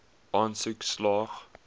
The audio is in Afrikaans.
aansoek slaag